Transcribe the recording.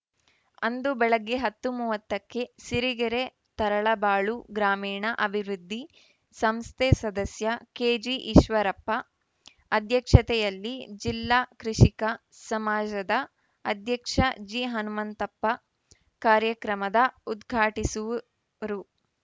ಅಂದು ಬೆಳಗ್ಗೆ ಹತ್ತು ಮೂವತ್ತಕ್ಕೆ ಸಿರಿಗೆರೆ ತರಳಬಾಳು ಗ್ರಾಮೀಣ ಅಭಿವೃದ್ಧಿ ಸಂಸ್ಥೆ ಸದಸ್ಯ ಕೆಜಿಈಶ್ವರಪ್ಪ ಅಧ್ಯಕ್ಷತೆಯಲ್ಲಿ ಜಿಲ್ಲಾ ಕೃಷಿಕ ಸಮಾಜದ ಅಧ್ಯಕ್ಷ ಜಿಹನುಮಂತಪ್ಪ ಕಾರ್ಯಕ್ರಮದ ಉದ್ಘಾಟಿಸುವುರು